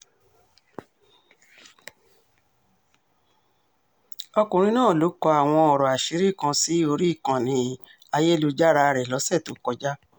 ọkùnrin náà ló kọ àwọn ọ̀rọ̀ àṣírí kan sí orí ìkànnì ayélujára rẹ̀ lọ́sẹ̀ tó kọjá